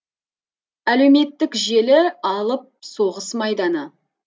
әлеуметтік желі алып соғыс майданы